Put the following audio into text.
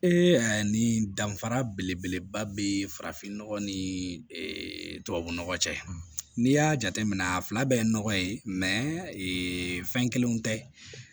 nin danfara belebeleba be farafinnɔgɔ ni tubabu nɔgɔ cɛ n'i y'a jateminɛ a fila bɛɛ ye nɔgɔ ye fɛn kelenw tɛ